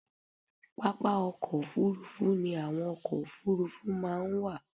Pápá ọkọ̀ òfuurufú ni àwọn ọkọ̀ òfuurufú máa ń wà.